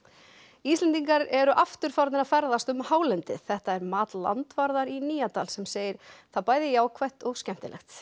Íslendingar eru aftur farnir að ferðast um hálendið þetta er mat landvarðar í Nýjadal sem segir það bæði jákvætt og skemmtilegt